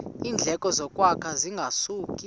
iindleko zokwakha zingasuka